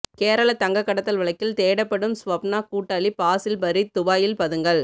கேரள தங்கக்கடத்தல் வழக்கில் தேடப்படும் ஸ்வப்னா கூட்டாளி ஃபாசில் பரீத் துபாயில் பதுங்கல்